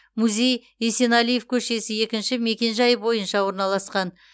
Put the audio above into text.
музей есенәлиев көшесі екінші мекенжайы бойынша орналасқан